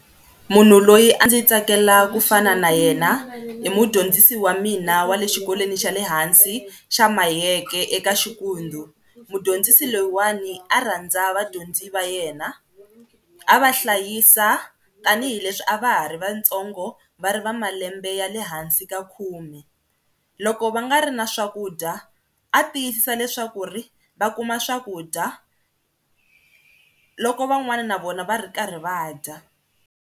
Munhu loyi a ndzi tsakela kufana na yena i mudyondzisi wa mina wa le xikolweni xa le hansi xa Mayeke eka Xikundzu, mudyondzisi loyiwani a rhandza vadyondzi va yena, a va hlayisa tanihileswi a va ha ri vatsongo va ri va malembe ya le hansi ka khume, loko va nga ri na swakudya a tiyisisa leswaku ri va kuma swakudya loko van'wana na vona va ri karhi va dya.